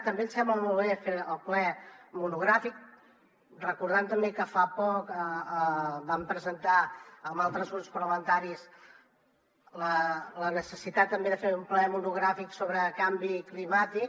també ens sembla molt bé fer el ple monogràfic recordant també que fa poc vam presentar amb altres grups parlamentaris la necessitat també de fer un ple monogràfic sobre canvi climàtic